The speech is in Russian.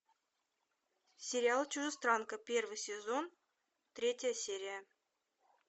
сериал чужестранка первый сезон третья серия